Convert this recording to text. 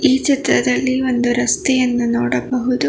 ಈ ಚಿತ್ರದಲ್ಲಿ ಒಂದು ರಸ್ತೆಯನ್ನು ನೋಡಬಹುದು.